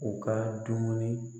U ka dumuni